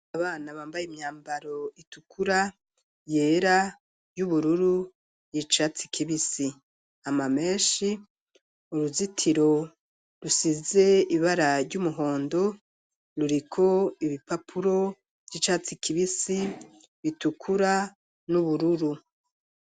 Abana bambaye imyambaro itukura, yera, y'ubururu, y'icatsi kibisi amamenshi, uruzitiro rusize ibara ry'umuhondo ruriko ibipapuro vy'icatsi kibisi, bitukura, n'ubururu.